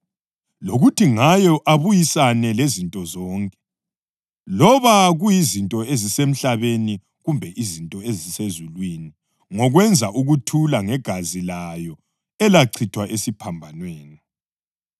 lokuthi ngayo abuyisane lezinto zonke, loba kuyizinto ezisemhlabeni kumbe izinto ezisezulwini ngokwenza ukuthula ngegazi layo elachithwa esiphambanweni.